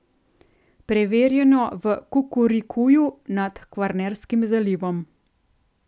Preverjeno v Kukurikuju nad Kvarnerskim zalivom.